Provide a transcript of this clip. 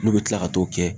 N'u bɛ tila ka t'o kɛ